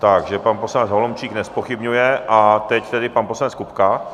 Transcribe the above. Takže pan poslanec Holomčík nezpochybňuje a teď tedy pan poslanec Kupka.